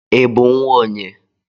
I bụ nnwa onye?